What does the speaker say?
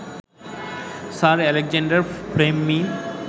sir Alexander ফ্লেমি